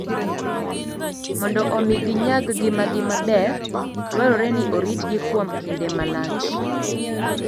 Mondo omi ginyag ngimagi maber, dwarore ni oritgi kuom kinde malach.